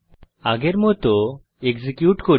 আগের মত এক্সিকিউট করি